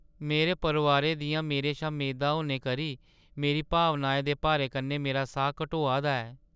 मेरे परोआरै दियां मेरे शा मेदां होने करी मेरी भावनाएं दे भारै कन्नै मेरा साह् घटोआ दा ऐ।